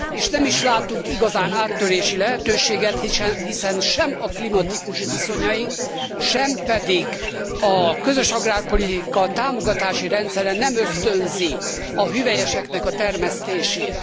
És nem is látunk igazán áttörési lehetőséget, hiszen sem a klimatikus viszonyaink, sem pedig a közös agrárpolitika támogatási rendszere nem ösztönzi a hüvelyeseknek a termesztését.